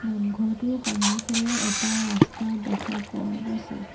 নামঘৰটোৰ সন্মুখেৰে এটা ৰাস্তা দেখা পোৱা গৈছে।